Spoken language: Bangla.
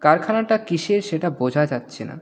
কারখানাটা কিসের সেটা বোঝা যাচ্ছে না.